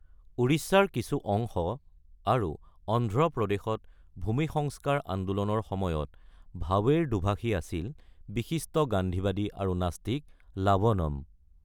উৰিষ্যাৰ কিছু অংশ আৰু অন্ধ্ৰপ্ৰদেশত ভূমি সংস্কাৰ আন্দোলনৰ সময়ত ভাৱেৰ দোভাষী আছিল বিশিষ্ট গান্ধীবাদী আৰু নাস্তিক লাৱনম।